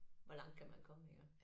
Hvor langt kan man komme iggå